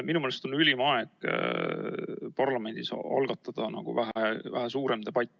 Minu meelest on ülim aeg algatada parlamendis sel teemal väheke suurem debatt.